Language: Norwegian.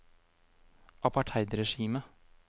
apartheidregimet